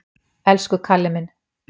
Elsku Kalli minn!